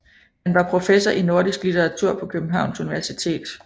Han var professor i nordisk litteratur på Københavns Universitet